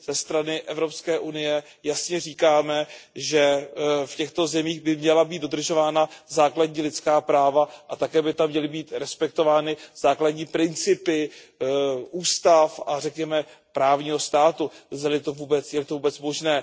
Ze strany EU jasně říkáme, že v těchto zemích by měla být dodržována základní lidská práva a také by tam měly být respektovány základní principy ústav a řekněme právního státu, zdali je to vůbec možné.